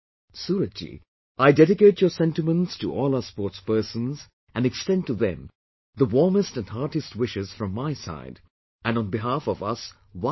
Suraj Ji, I dedicate your sentiments to all our sportspersons and extend to them the warmest and heartiest wishes from my side and on behalf of us 1